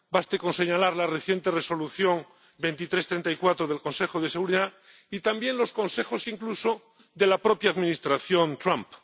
Baste con señalar la reciente Resolución 2334 del Consejo de Seguridad y también los consejos incluso de la propia Administración Trump.